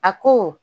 A ko